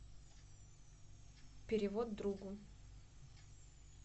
перевод другу